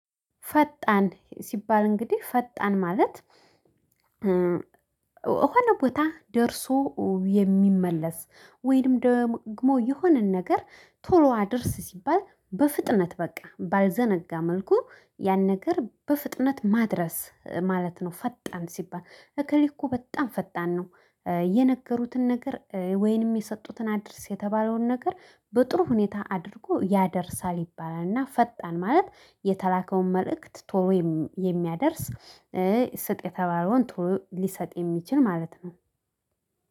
ፈጣን ሲባል እንግዲህ ፈጣን ማለት የሆነ ቦታ ደርሶ የሚመለስ ወይንም ደግሞ የሆነን ነገር ቶሎ አድርስ ሲባል በፍጥነት በቃ ባልዘነጋ መልኩ ያን ነገር በፍጥነት ማድረስ ማለት ነው። ፈጣን ሲባል አከሌ እኮ በጣም ፈጣን ነው። የነገሩትን ነገር ወይንም የሰጡትን አድርስ የተባለውን ነገር በጥሩ ሁኔታ አድርጎ ያደርሳል ይባላል። እና ፈጣን ማለት የተላከውን መልእክት ቶሎ የሚያደርስ ስጥ የተባለውን ቶሎ ሊሰጥ የሚችል ማለት ነው